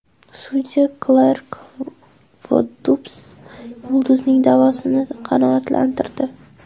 Sudya Klark Voddups yulduzning da’vosini qanoatlantirdi.